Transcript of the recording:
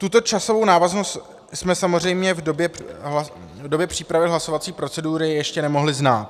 Tuto časovou návaznost jsme samozřejmě v době přípravy hlasovací procedury ještě nemohli znát.